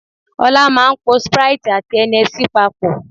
Ọlá máa ń po sprite àti Hennessey papọ̀